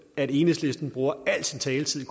at enhedslisten bruger al sin taletid